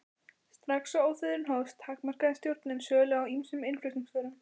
Strax og ófriðurinn hófst, takmarkaði stjórnin sölu á ýmsum innflutningsvörum.